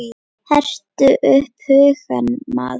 Hertu upp hugann maður!